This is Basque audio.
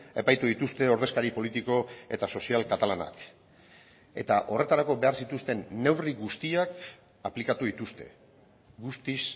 epaitu dituzte ordezkari politiko eta sozial katalanak eta horretarako behar zituzten neurri guztiak aplikatu dituzte guztiz